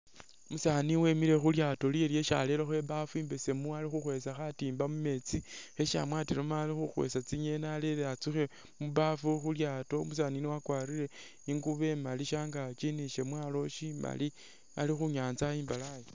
Umusaani wemele khulyaato lyewe lyesi arelekho i'baafu imbesemu ali khukhwesa khatimba mumetsi khesi amwatilemo ali khukhwesa tsingeni arele a'tsukhe mubaafu khulyaato umusaani yuno wakwalire ingubo imaali shangaki ni shamwalo shimaali ali khunyanza i'mbalayi